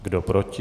Kdo proti?